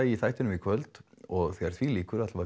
í þættinum í kvöld og þegar því líkur